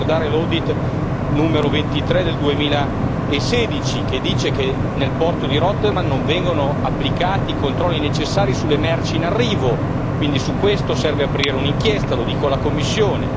vorrei ricordare l'audit 23 del 2016 che dice che nel porto di Rotterdam non vengono applicati i controlli necessari sulle merci in arrivo, e quindi su questo serve aprire un'inchiesta, lo dico la Commissione.